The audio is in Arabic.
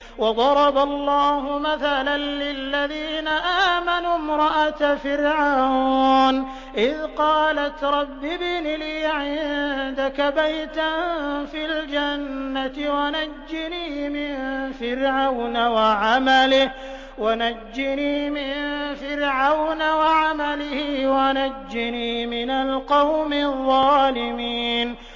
وَضَرَبَ اللَّهُ مَثَلًا لِّلَّذِينَ آمَنُوا امْرَأَتَ فِرْعَوْنَ إِذْ قَالَتْ رَبِّ ابْنِ لِي عِندَكَ بَيْتًا فِي الْجَنَّةِ وَنَجِّنِي مِن فِرْعَوْنَ وَعَمَلِهِ وَنَجِّنِي مِنَ الْقَوْمِ الظَّالِمِينَ